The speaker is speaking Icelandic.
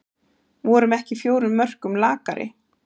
Vorum ekki fjórum mörkum lakari